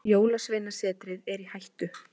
Jólasveinasetrið er í hættu.